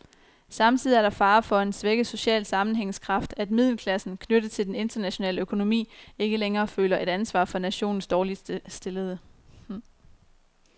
Samtidig er der fare for en svækket social sammenhængskraft, at middelklassen, knyttet til den internationale økonomi, ikke længere føler et ansvar for nationens dårligt stillede.